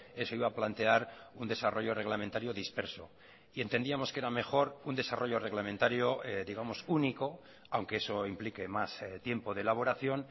eso iba a plantear un desarrollo reglamentario disperso y entendíamos que era mejor un desarrollo reglamentario digamos único aunque eso implique más tiempo de elaboración